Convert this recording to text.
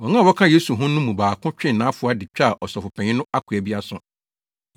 Wɔn a wɔka Yesu ho no mu baako twee nʼafoa de twaa Ɔsɔfopanyin no akoa bi aso.